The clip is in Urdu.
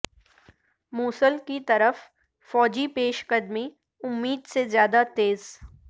موصل کی طرف فوجی پیش قدمی امید سے زیادہ تیز